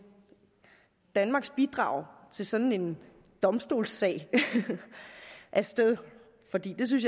danmarks bidrag til sådan en domstolssag af sted for det synes